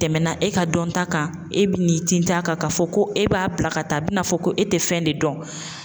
Tɛmɛna e ka dɔnta kan e bi n'i tint'a kan ka fɔ ko e b'a bila ka taa a bi n'a fɔ ko e te fɛn de dɔn.